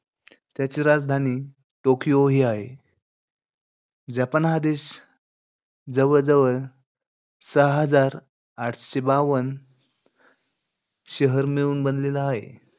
त्याची राजधानी टोकियो ही आहे. जपान हा देश जवळजवळ सहा हजार आठशे बावन शहर मिळून बनलेला आहे.